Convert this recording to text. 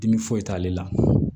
Dimi foyi t'ale la